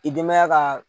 I denbaya ka